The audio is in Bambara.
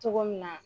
Cogo min na